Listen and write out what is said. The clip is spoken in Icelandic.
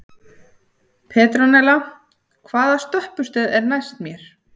Petrónella, hvaða stoppistöð er næst mér?